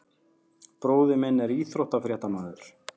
Bróðir minn er íþróttafréttamaður.